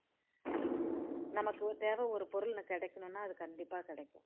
நமக்கு தேவை ஒரு பொருள் கியைக்கணும்னா அது கண்டிப்பா கிடைக்கும்